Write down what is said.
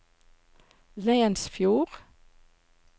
Leinesfjord